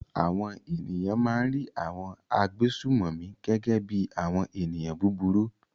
Àwọn ènìyàn máa ń rí àwọn agbésùnmòmí gẹ́gẹ́ bí i àwọn ènìyàn búburú.